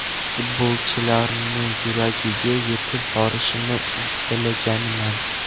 Futbolchilarni yuragiga yetib borishni uddalaganman.